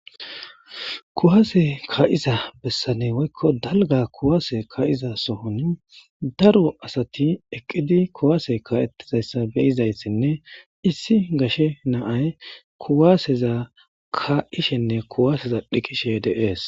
kuwaase ka7iza bessane woykko dalga kuwaase ka7iza sohon daro asati eqqidi kuwaase ka7ettizayssa beyizayssinne issi gashe naay kuwaaseza ka ishenne kuwaaseza dhiqishe deees